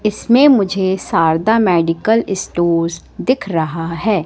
इसमें मुझे Sharda medical stores दिख रहा है।